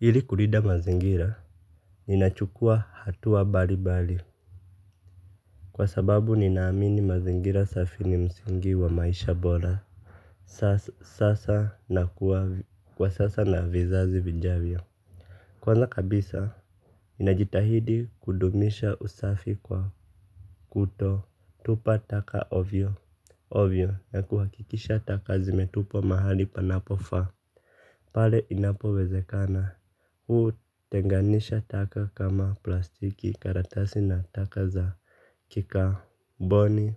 Hili kulinda mazingira, ninachukua hatua wa mbali mbali. Kwa sababu ninaamini mazingira safi ni msingi wa maisha bora. Sasa na kuwa kwa sasa na vizazi vijavyo. Kwanza kabisa ninajitahidi kudumisha usafi kwa kutotupa taka ovyo ovyo na kuhakikisha taka zimetupwa mahali panapofa. Pale inapo wezekana, hutenganisha taka kama plastiki karatasi na taka za kikaboni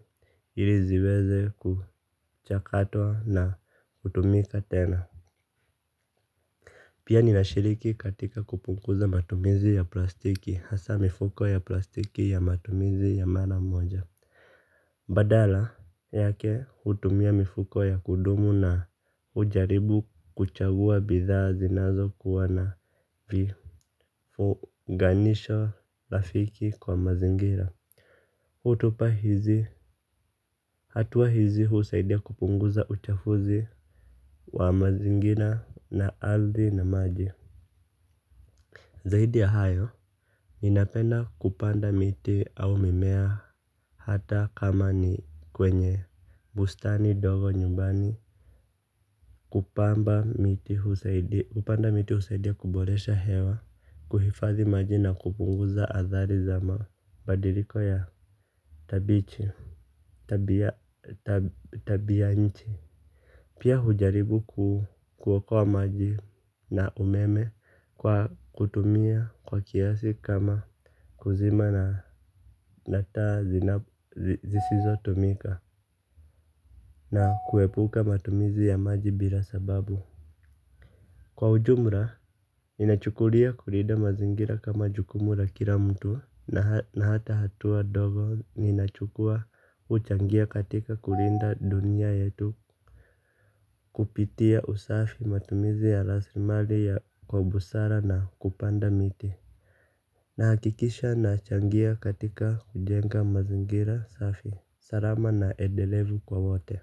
iliziweze kuchakatwa na kutumika tena. Pia nina shiriki katika kupunguza matumizi ya plastiki, hasa mifuko ya plastiki ya matumizi ya maramoja. Badala yake hutumia mifuko ya kudumu na ujaribu kuchagua bidhaa zinazo kuwana vifuganisho rafiki kwa mazingira. Hutupa hizi hatuwa hizi husaidia kupunguza uchafuzi wa mazingira na aridhi na maji. Zaidi ya hayo, ninapenda kupanda miti au mimea hata kama ni kwenye bustani dogo nyumbani kupanda miti husaidia kuboresha hewa, kuhifadhi maji na kupunguza athari za mabadiliko ya tabia nchi. Pia hujaribu kuokoa maji na umeme kwa kutumia kwa kiasi kama kuzima na taa zisizo tumika na kuepuka matumizi ya maji bila sababu. Kwa ujumla, ninachukulia kulinda mazingira kama jukumu la kila mtu na hata hatua dogo ninachukua huchangia katika kulinda dunia yetu kupitia usafi matumizi ya raslimali ya kwa busara na kupanda miti. Na hakikisha na changia katika kujenga mazingira safi. Salama na edelevu kwa wote.